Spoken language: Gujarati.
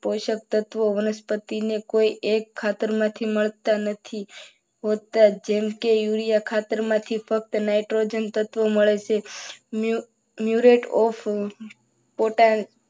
તત્વો પોષક તત્વો વનસ્પતિને કોઈ એક ખાતર માંથી મળતા નથી. જેમ કે યુરિયા ખાતર માંથી ફક્ત નાઇટ્રોજન તત્વ મળશે. ન્યુ રેટ પોટાશ